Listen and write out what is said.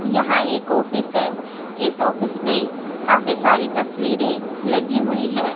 यहां एक ऑफिस है इस ऑफिस में काफी सारी तस्वीरें लगी हुई हैं।